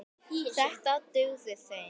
Þetta dugði þeim.